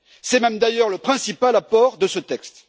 C'est même d'ailleurs le principal apport de ce texte.